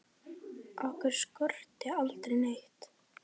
Okkur skorti aldrei neitt.